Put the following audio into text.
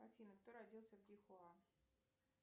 афина кто родился в дихуа